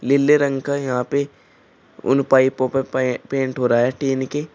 नीले रंग का यहां पे उन पाइपों पे पै पेंट हो रहा है टीन के।